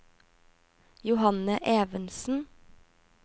Johanne Evensen